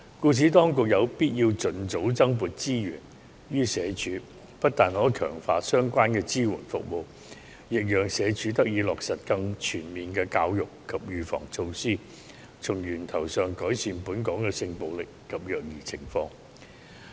故此，當局有必要盡早增撥資源予社署，不但可強化相關的支援服務，亦讓社署得以落實更全面的教育及預防措施，從源頭上改善本港的性暴力及虐兒情況。